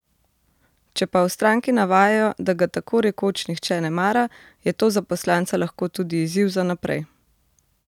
Če pa v stranki navajajo, da ga tako rekoč nihče ne mara, je to za poslanca lahko tudi izziv za naprej.